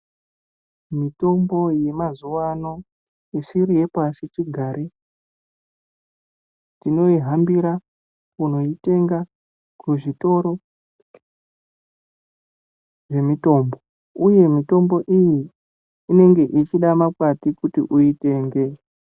Mitombo yemazuva ano isiri yepasichigare tionihambira kunoitenga kuzvitoro zvemitombo uye mitombo iyi inenge ichida makwati kuti uitenge.